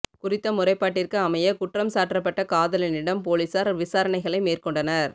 குறித்த முறைப்பாட்டிற்கு அமைய குற்றம் சாற்றப்பட்ட காதலனிடம் பொலிஸார் விசாரணைகளை மேற்கொண்டனர்